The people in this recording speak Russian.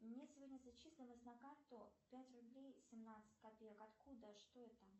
мне сегодня зачислилось на карту пять рублей семнадцать копеек откуда что это